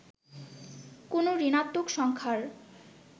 কোন ঋণাত্নক সংখ্যার